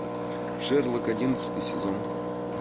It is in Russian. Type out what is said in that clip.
шерлок одиннадцатый сезон